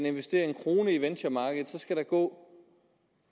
investerer en kroner i venturemarkedet skal der gå